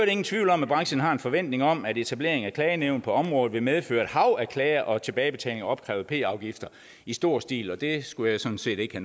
ingen tvivl om at branchen har en forventning om at etablering af et klagenævn på området vil medføre et hav af klager og tilbagebetalinger af opkrævet p afgifter i stor stil og det skulle jeg sådan set ikke